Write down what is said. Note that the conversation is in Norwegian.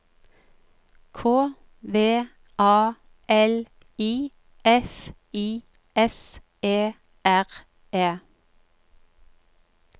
K V A L I F I S E R E